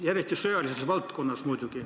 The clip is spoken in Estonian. Pean muidugi silmas sõjalist valdkonda.